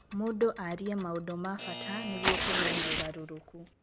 Mũndũ arĩe maũndũ ma bata nĩguo kũgĩe na ũgarũrũku.